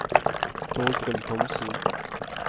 Torgrim Thomsen